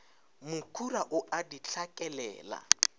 mokhura o a di hlakelela